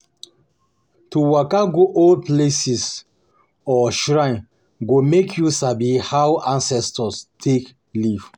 To waka go old palace or shrine go make you sabi how ancestors take live.